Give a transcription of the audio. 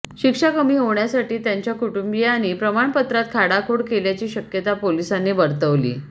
शिक्षा कमी होण्यासाठी त्याच्या कुटुंबीयांनी प्रमाणपत्रात खाडाखोड केल्याची शक्यता पोलिसांनी वर्तवली